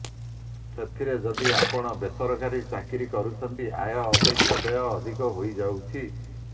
ସେଥିରେ ଯଦି ଆପଣ ବେସରକାରୀ ଚାକିରୀ କରୁଛନ୍ତି ଆୟ ଅପେକ୍ଷା ବ୍ୟୟ ଅଧିକ ହୋଇଯାଉଛି